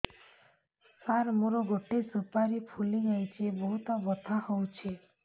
ସାର ମୋର ଗୋଟେ ସୁପାରୀ ଫୁଲିଯାଇଛି ବହୁତ ବଥା ହଉଛି